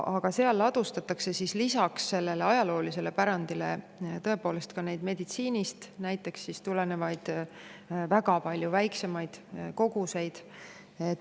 Aga seal ladustatakse lisaks sellele ajaloolisele pärandile tõepoolest ka näiteks meditsiinist tulenevaid väga palju väiksemaid koguseid.